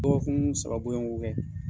Dɔgɔkun saba bɔɲɔgɔn ko kɛ